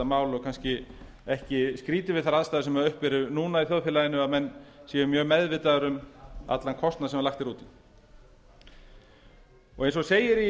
mál og kannski ekki skrýtið við þær aðstæður sem uppi eru núna í þjóðfélaginu við það að menn séu mjög meðvitaðir um allan kostnað sem lagt er út eins og segir í